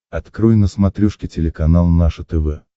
открой на смотрешке телеканал наше тв